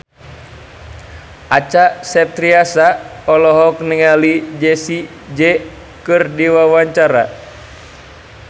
Acha Septriasa olohok ningali Jessie J keur diwawancara